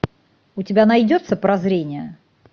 у тебя найдется прозрение